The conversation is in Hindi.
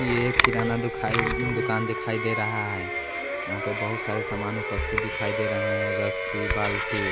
ये खिराना दुखाई दुकान दिखाई दे रहा हैं यहाँ पे बहुत सारे सामान उपस्थित दिखाई दे रहे हैं रस्सी बाल्टी--